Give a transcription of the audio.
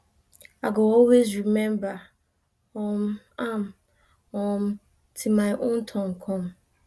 i go always remember um am um till my own turn come